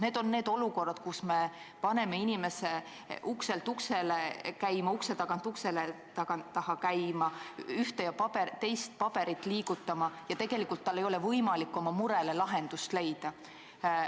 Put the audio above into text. Need on olukorrad, kus me paneme inimese ukselt uksele käima, ühe ukse tagant teise ukse taha käima, ühte ja teist paberit liigutama, aga tegelikult tal ei ole võimalik oma murele lahendust leida.